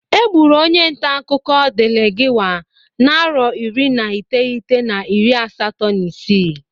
E gburu onye ntakụkọ Delegiwa na arọ iri na iteghete na iri asatọọ na isi.